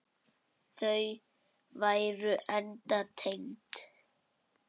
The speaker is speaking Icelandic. Þau væru enda tengd.